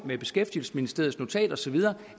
med beskæftigelsesministeriets notat og så videre